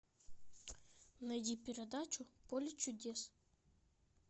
найди передачу поле чудес